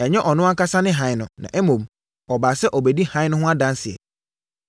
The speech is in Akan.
Ɛnyɛ ɔno ankasa ne hann no, na mmom, ɔbaa sɛ ɔrebɛdi hann no ho adanseɛ.